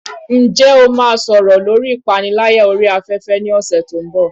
Ǹjẹ́ o máa sọ̀rọ̀ lórí ìpániláyà orí afẹ́fẹ́ ní ọ̀sẹ̀ tó ń bọ̀?